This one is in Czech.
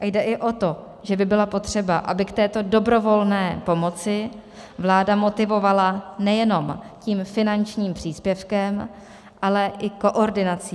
A jde i o to, že by bylo potřeba, aby k této dobrovolné pomoci vláda motivovala nejenom tím finančním příspěvkem, ale i koordinací.